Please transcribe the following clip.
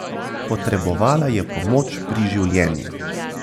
Potrebovala je pomoč pri življenju.